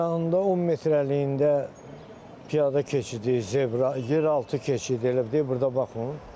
Yanında 10 metrliyində piyada keçidi, zebra, yeraltı keçid, elə bir deyil, burda baxın.